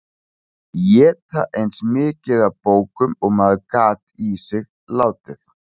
Éta eins mikið af bókum og maður gat í sig látið.